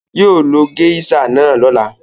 Yóò lo géíṣà náà lọ́la.